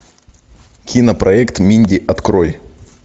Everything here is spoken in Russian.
кинопроект минди открой